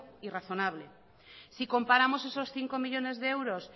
y razonable si comparamos esos cinco millónes de euros